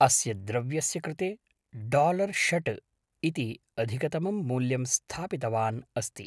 अस्य द्रव्यस्य कृते डालर् षड् इति अधिकतमं मूल्यं स्थापितवान् अस्ति।